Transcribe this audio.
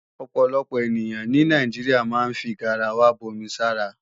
Ọ̀pọ̀lọpọ̀ ènìyàn ní Nàìjíríà máa ń fi garawa bomi sára